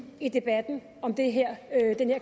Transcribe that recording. i debatten om den her